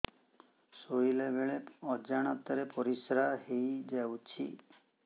ଶୋଇଲା ବେଳେ ଅଜାଣତ ରେ ପରିସ୍ରା ହେଇଯାଉଛି